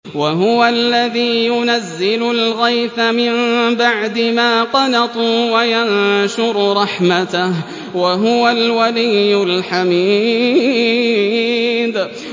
وَهُوَ الَّذِي يُنَزِّلُ الْغَيْثَ مِن بَعْدِ مَا قَنَطُوا وَيَنشُرُ رَحْمَتَهُ ۚ وَهُوَ الْوَلِيُّ الْحَمِيدُ